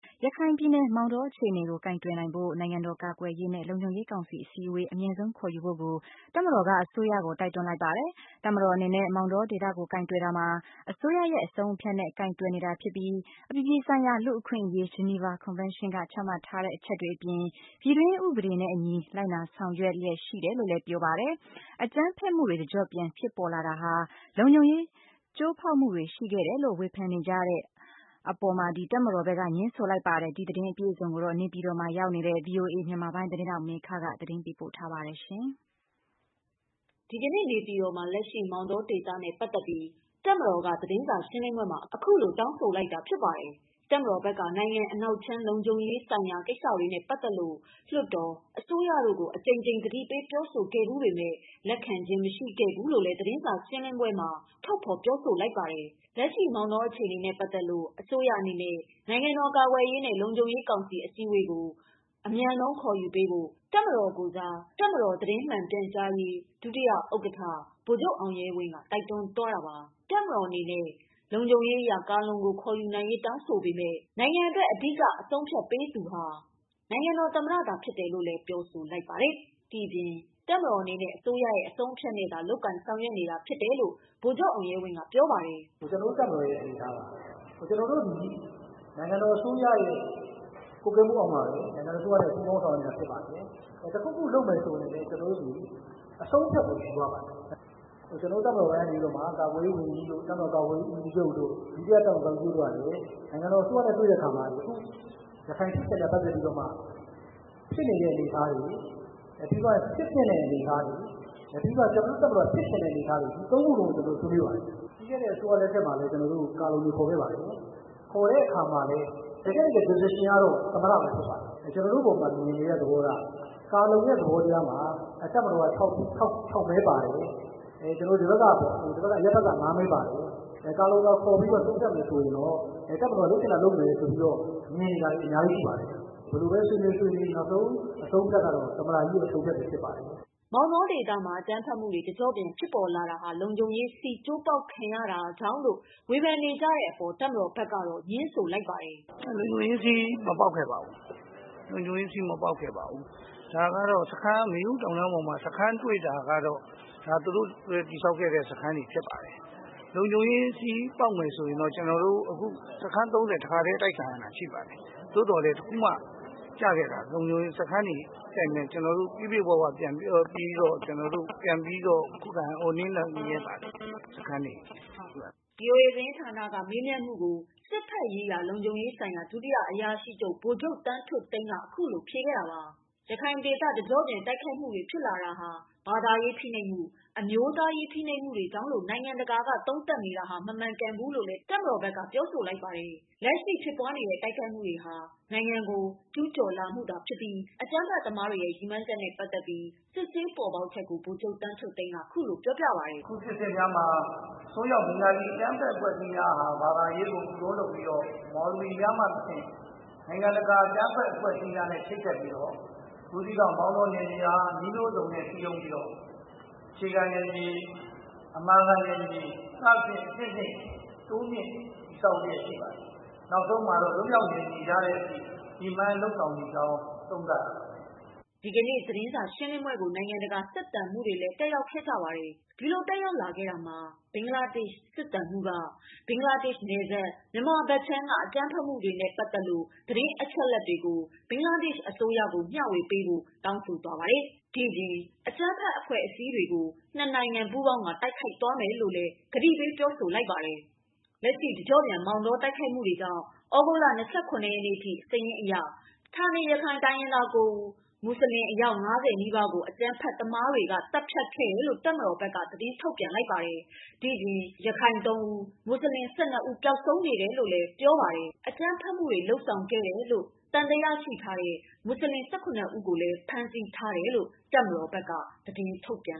ရခိုင်ပြည်နယ်မောင်တောအခြေအနေကို ကိုင်တွယ်နိုင်ဖို့ နိုင်ငံတော်ကာကွယ်ရေးနဲ့ လုံခြုံရေးကောင်စီအစည်းအဝေး အမြန်ဆုံးခေါ်ယူဖို့ကို တပ်မတော်က အစိုးရကို တိုက် တွန်းလိုက်ပါတယ်။ တပ်မတော်အနေနဲ့ မောင်တောဒေသကို ကိုင်တွယ်တာမှာ အစိုးရရဲ့အဆုံးအဖြတ်နဲ့ ကိုင်တွယ်နေတာဖြစ်ပြီး အပြည်ပြည်ဆိုင်ရာ လူ့အခွင့် အရေး၊ ဂျနီဖာကွန်ဖန်းရှင်းကချမှတ်ထားတဲ့ အချက်တွေအပြင် ပြည်တွင်းဥပဒေတွေနဲ့အညီ လိုက်နာဆောင်ရွက်လျက်ရှိ တယ်လို့ပြောဆိုလိုက်ပါတယ်။ အကြမ်းဖက်မှုတွေ တကျော့ပြန် ဖြစ်ပေါ်လာတာဟာ လုံခြုံရေး ကျိုးပေါက်မှုတွေရှိခဲ့တယ်လို့ ဝေဖန်နေကြတဲ့ အပေါ်တပ်မတော်ဘက်က ငြင်းဆိုလိုက်ပါတယ်။ ဒီသတင်းတွေကို နေပြည်တော်မှာ ရောက်နေတဲ့ ဗွီအိုအေသတင်းထောက်မေခကပြောပြပေးမှာပါ။ ဒီကနေ့ နေပြည်တော်မှာ လက်ရှိမောင်တောဒေသနဲ့ ပတ်သတ်ပြီး တပ်မတော်က သတင်းစာရှင်းလင်းပွဲမှာ အခုလိုတောင်းဆိုလိုက်တာဖြစ်ပါတယ်။ တပ်မတော်ဘက်က နိုင်ငံအနောက်ခြမ်း လုံခြုံရေးဆိုင်ရာတွေနဲ့ပတ်သတ်လို့ လွှတ်တော်၊ အစိုးရတို့ကို အကြိမ်ကြိမ်သတိပေးပြောဆိုခဲ့ဘူးပေမယ့် လက်ခံ ခြင်းမရှိခဲ့ဘူးလို့လည်း သတင်းစာရှင်းလင်းပွဲမှာထုတ်ဖော်ပြောဆိုလိုက်ပါတယ်။ လက်ရှိ မောင်တောအခြေအနေနဲ့ပတ်သတ်လို့ အစိုးရအနေနဲ့ နိုင်ငံတော်ကာကွယ်ရေးနဲ့ လုံခြုံရေးကောင်စီအစည်းအဝေးကို အမြန်ဆုံးခေါ်ယူဖို့ကို တပ်မတော်ကိုယ်စား တပ်မတော်သတင်းမှန်ပြန်ကြားရေး ဒုတိယ ဥက္ကဌ ဗိုလ်ချုပ်အောင် ရဲဝင်းက တိုက်တွန်းသွားတာပါ။ တပ်မတော်အနေနဲ့ ကာလုံကို ခေါ်ယူနိုင်ရေးတောင်းဆိုပေမယ့် အဓိကအဆုံးအဖြတ်ပေးနိုင်ဆုံးသူမှာ နိုင်ငံတော်သမ္မတသာဖြစ်တယ်လို့ လည်းပြောဆိုလိုက် ဒီပြင် တပ်မတော်အနေနဲ့ အစိုးရအဆုံးအဖြတ်နဲ့သာ လုပ်ကိုင်ဆောင်ရွက်နေတာဖြစ်တယ်လို့ ဗိုလ်ချုပ်အောင်ရဲဝင်းကပြောပါတယ်။ "ကျနော်တို့တပ်မတော်ရဲ့အနေအထားပါ ကျနော်တို့သည်နိုင်ငံတော်အစိုးရရဲ့ ကွပ်ကဲမှုအောက်မှာပဲ နိုင်ငံတော်အစိုးရနဲ့ ပူးပေါင်းဆောင်ရွက်ခြင်းဖြစ်ပါတယ်။ တခုခုလုပ်မယ်ဆိုရင်လည်း ကျနော်တို့သည် အဆုံးအဖြတ်ကိုယူရပါတယ်။ ကျနော်တို့တပ်မတော်ပိုင်းကနေပြီးတော့မှ ကာကွယ်ရေးဝန်ကြီးတို့ ၊ တပ်မတော်ကာကွယ်ရေးဦးစီးချုပ်တို့ ဒုတိယတပ်မတော်ကာကွယ်ရေးဦးစီးချုပ်တို့ ကလည်း နိုင်ငံတော်အစိုးရနဲ့ တွေ့တဲ့အခါမှာ ယခုရခိုင်ဖြစ်စဉ်နဲ့ ပတ်သက်ပြီးတော့မှ ဖြစ်နေတဲ့အနေအထားတွေ ၊ ပြီးသွားရင် ဖြစ်သင့်တဲ့အနေအထားတွေ ၊ ပြီးသွားတော့ ကျနော်တို့ တပ်မတော်ဖြစ်ချင်တဲ့အနေအထား တွေ ဒီ၃ခုလုံး ကျနော်တို့ ဆွေးနွေးပါတယ်။ ပြီးခဲ့တဲ့အစိုးရလက်ထက်မှာလည်း ကျနော်တို့ ကာလုံတွေခေါ်ခဲ့ပါတယ်။ ခေါ်တဲ့အခါမှာလည်း တကယ့် decision ကတော့ သမ္မတပဲ ဖြစ်ပါတယ်။ ကျနော်တို့ အပေါ်မှာ မြင်တဲ့သဘောထား ကာလုံရဲ့သဘောတရားမှာ တပ်မတော်က ၆ မဲပါတယ်၊ ဒီဘက်က အရပ်ဘက်က ၅ မဲပါတယ်။ ကာလုံကိုခေါ်ပြီးတော့ ဆုံးဖြတ်မယ်ဆိုရင်တော့ တပ်မတော်လုပ်ချင်တာလုပ်မယ်ဆိုပြီးတော့ မြင်နေတာတွေအများကြီးရှိပါတယ်။ ဘယ်လိုပဲဆွေးနွေးဆွေးနွေးနောက်ဆုံးအဆုံးအဖြတ်ကတော့ သမ္မတကြီးရဲ့ အဆုံးအဖြတ်ပါပဲ။" မောင်တောဒေသမှာ အ ကြမ်းဖက်မှုတွေ တကျော့ပြန် ဖြစ်ပေါ်လာတာဟာ လုံခြုံရေး ကျိုးပေါက်မှုတွေရှိခဲ့တယ်လို့ ဝေဖန်နေကြတဲ့ အပေါ်တပ်မတော်ဘက်က ငြင်းဆိုလိုက် ပါတယ်။ “လုံခြုံရေးစည်းမပေါက်ခဲ့ပါဘူး။ မေယုတောင်တုန်းပေါ်မှာ စခန်းတွေ့တာကတော့ ဒါသူတို့တည်ဆောက်ခဲ့တဲ့ စခန်းတွေဖြစ်ပါတယ်။ လုံခြုံရေးစည်းပေါက်မယ်ဆိုရင်တော့ ကျနော်တို့ စခန်း ၃၀ တခါတည်းအတိုက်ခံရတာရှိပါတယ်။ သို့သော်လည်း တခုမှ ကျခဲ့တာ လုံခြုံရေးစခန်းတွေကို ကျနော်တို့ ပြည့်ပြည့်၀၀ပြန်ပြီးတော့ ခုခံနိုင်ခဲ့ပါတယ် စခန်းတွေကို။” ဗွီအိုအေသတင်းဌာနကမေးမြန်းမှုကို စစ်ဘက်ရေးရာလုံခြုံရေးဆိုင်ရာ ဒုတိယအရာရှိချုပ် ဗိုလ်ချုပ်သန်းထွဋ်သိန်းက ခုလိုဖြေခဲ့တာပါ. ရခိုင်ဒေသ တကျော့ပြန် တိုက်ခိုက်မှုတွေ ဖြစ်လာတာဟာ ဘာသာရေးဖိနှိပ်မှု၊ အမျိုးသားရေးဖိနှိပ်မှုတွေကြောင့်လို့ နိူင်ငံတကာက သုံးသပ်နေတာဟာ မမှန် ကန်ဘူးလို့ တပ်မတော်ဘက်ကပြောဆိုလိုက်ပါတယ်။ လက်ရှိ ဖြစ်ပွားနေတဲ့ တိုက်ခိုက်မှုတွေဟာ နိုင်ငံတော်ကို ကျူူးကျော်မှုသာဖြစ်ပြီး အကြမ်းဖက်သမားတွေရဲ့ ရည်မှန်းချက်နဲ့ပတ်သတ်ပြီး စစ်ဆေးပေါ်ပေါက်ချက်ကို ဗိုလ်ချုပ်သန်းထွဋ်သိန်းက ခုလိုပြောပြတာပါ။ “အခုဖြစ်စဉ်များမှာ အစွန်းရောက်ဘဂါၤလီအကြမ်းဖက် အဖွဲ့အစည်းများဟာ ဘာသာရေးကို ခုတုံးလုပ်ပြီးတော့ မော်လဝီများမှတဆင့် နိုင်ငံတကာ အကြမ်းဖက်အဖွဲ့အစည်းများနဲ့ ချိတ်ဆက်ပြီးတော့ ဘူးသီးတောင်၊ မောင်တောနယ်မြေများကို နည်းမျိုးစုံစည်းရုံးပြီးတော့ အခြေခံနယ်မြေ၊ အမာခံနယ်မြေ စသဖြင့်အဆင့်ဆင့် တိုးမြင့်တည်ဆောက်လျက်ရှိပါတယ်။ နောက်ဆုံးမှာတော့ လွတ်မြောက်နယ်မြေရတဲ့အထိ ရည်မှန်းလုပ်ဆောင်နေကြောင်း သုံးသပ်ရပါတယ်။” ဒီကနေ့ ရှင်းလင်းပွဲကို နိုင်ငံတကာစစ်သံမှုးတွေ တက်ရောက်ခဲ့ကြပါတယ်။ ဒီလိုတက်ရောက်လာတာမှာ ဘင်္ဂလားဒေရှ့် စစ်သံမှူးက ဘင်္ဂလားဒေရှ့် နယ်စပ် မြန်မာဘက်ခြမ်းက အကြမ်းဖက်မှုတွေနဲ့ ပတ်သက်လို့ သတင်းအချက်အလက်တွေကို ဘင်္ဂလားဒေရှ့် အစိုးရကို မျှဝေပေးဖို့ကိုလည်း တောင်းဆို ခဲ့သလို အကြမ်းဖက်အဖွဲ့တွေကို နှစ်နိုင်ငံ ပူးပေါင်းကာ တိုက်ခိုက်သွားမယ်လို့လည်း ပြောဆိုခဲ့ပါတယ်။ လက်ရှိတကျော့ပြန် မောင်တော တိုက်ခိုက်မှုတွေကြောင့် သြဂုတ် ၂၇ရက်နေ့ထိစာရင်းအရ ဌာနေရခိုင်တိုင်းရင်းသား ၉ ဦး၊ မူဆလင် အယောက် ၅၀နီးပါးကို အကြမ်းဖက်တွေက သတ်ဖြတ်ခဲ့တယ်လို့ တပ်မတော်က ထုတ်ပြန်လိုက်ပါတယ်။ ဒီအပြင် ရခိုင် ၃ဦး၊ မူဆလင် ၁၂ဦးပျောက်ဆုံး နေတယ်လို့ ပြောပါတယ်။ အကြမ်းဖက်မှုနဲ့ပတ်သတ်လို့ သံသရရှိသူ မွတ်ဆလင် ၁၇ဦးကိုဖမ်းထားတယ်လို့ တပ်မတော်ဘက်က သတင်းထုတ်ပြန်